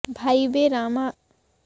ভাইবে রাধারমণ বলে আমার জনম গেল দেশ বিদেশ ঘুরে